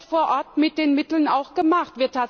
Was wird vor Ort mit den Mitteln gemacht?